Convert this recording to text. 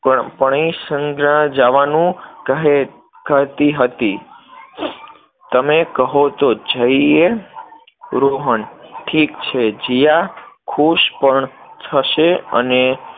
પ્રાણીસંગ્રહાલય જવાનું કહેતી હતી, તમે કહો તો જઈએ? રોહન, ઠીક છે, જીયા ખુશ પણ થશે અને